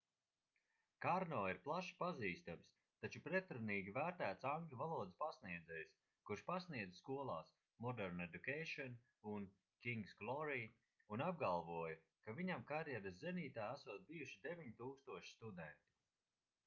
karno ir plaši pazīstams taču pretrunīgi vērtēts angļu valodas pasniedzējs kurš pasniedza skolās modern education un king's glory un apgalvoja ka viņam karjeras zenītā esot bijuši 9000 studentu